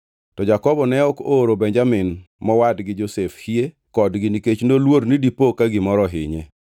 To Jakobo ne ok ooro Benjamin mowadgi Josef hie kodgi nikech noluor ni dipo ka gimoro ohinye.